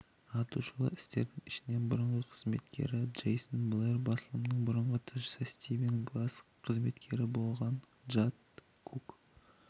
аты шулы істердің ішінен бұрынғы қызметкері джейсон блэр басылымының бұрынғы тілшісі стивен гласс қызметкері болған джанет кук